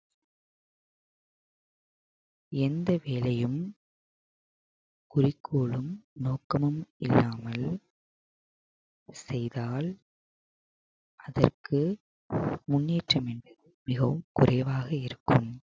எந்த வேலையும் குறிக்கோளும் நோக்கமும் இல்லாமல் செய்தால் அதற்கு முன்னேற்றம் என்பது மிகவும் குறைவாக இருக்கும்